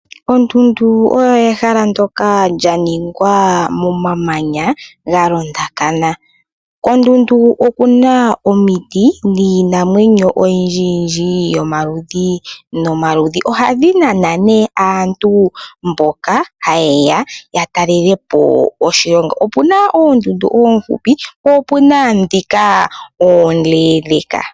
Oondundu olyo ehala ndoka lya ningwa momamanya ga londakana. Koondundu oku na omiti niinamwenyo oyindji yindji yomaludhi nomaludhi. Ohadhi nana nee aaantu mboka haye ya ya talelepo oshilongo. Opuna oondundu oohupi, po opuna dhika oondendeka.